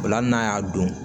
Ola hali n'a y'a don